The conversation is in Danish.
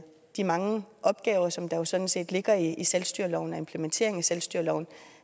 de mange opgaver som der jo sådan set ligger i selvstyreloven og implementeringen af selvstyreloven